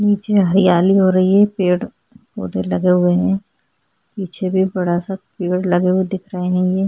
नीचे हरियाली हो रही है पेड़ उधर लगे हुए है पीछे भी बड़ा सा पेड़ लगे हुए दिख रहे है।